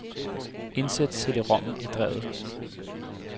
Indsæt cd-rommen i drevet.